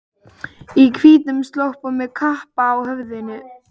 Í hvítum slopp og með kappa á höfðinu.